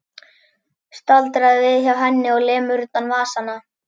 Staldrar við hjá henni og lemur utan vasana.